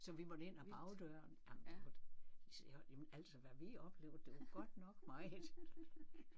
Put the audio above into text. Så vi måtte ind ad bagdøren jamen det jamen altså hvad vi oplevede det var godt nok meget